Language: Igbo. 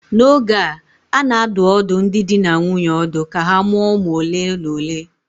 N'oge a, a na-adụ ọdụ ndị di na nwunye ọdụ ka ha mụọ ụmụ ole na ole